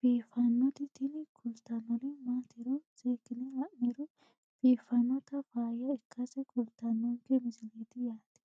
biiffannoti tini kultannori maatiro seekkine la'niro biiffannota faayya ikkase kultannoke misileeti yaate